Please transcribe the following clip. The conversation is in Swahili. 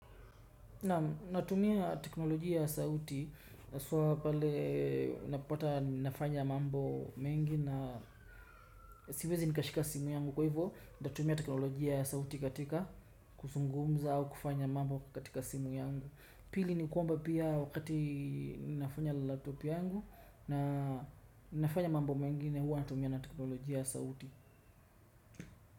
Naam natumia teknolojia ya sauti haswaa pale unapopata ninafanya mambo mengi na siwezi nikashika simu yangu. Kwa ivo natatumia teknolojia ya sauti katika kusungumza au kufanya mambo katika simu yangu. Pili ni kwamba pia wakati ninafanya na laptop yangu na nafanya mambo mengine huwa natumia na teknolojia ya sauti.